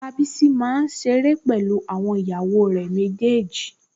Bàbá Bísí máa ń ṣeré pẹ̀lú àwọn ìyàwó rẹ̀ méjèèjì